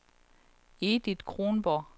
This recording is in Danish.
Edith Kronborg